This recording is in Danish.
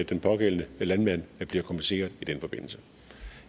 den pågældende landmand bliver kompenseret i den forbindelse